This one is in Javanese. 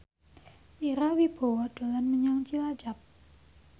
Ira Wibowo dolan menyang Cilacap